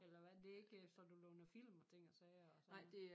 Eller hvad det er ikke så du låner film og ting og sager og sådan noget